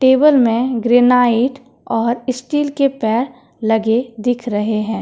Table में granite और steel के पैर लगे दिख रहे हैं।